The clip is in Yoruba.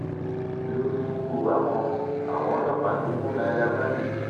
lórí ikú àwọn àwọn ọlọpàá ti mú naira marley